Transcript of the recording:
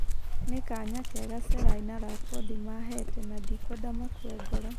" Nĩ kanya kega Selai na Lapodi maheete na ndikwenda makue ngoro."